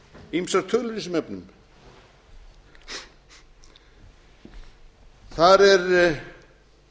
ýmsar tölur í þessum efnum þar er